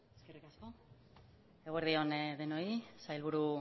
eskerrik asko eguerdi on denoi sailburu